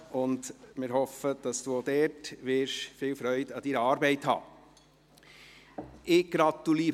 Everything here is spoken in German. Wir hoffen, dass Sie auch dort viel Freude an Ihrer Arbeit haben werden.